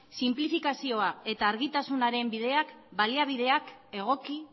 sinplifikazioa eta argitasunaren bideak baliabideak egoki